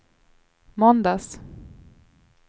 måndags